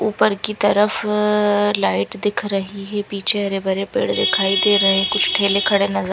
उपर की तरफ अ लाइट दिख रही है पीछे हरे भरे दिखाई दे रहे कुछ ठेले खड़े नजर--